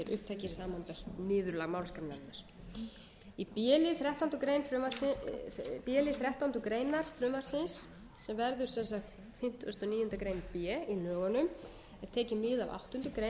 eigu verði gerðir upptækir samanber niðurlag málsgreinarinnar í b lið þrettándu greinar frumvarpsins sem verður fimmtíu og níu greinar b í lögunum er tekið mið af áttundu grein